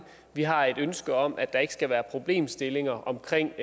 vi har et ønske om at der ikke skal være problemstillinger omkring